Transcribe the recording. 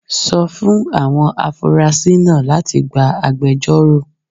Sọ fún àwọn afurasí náà láti gba agbẹjọ́rò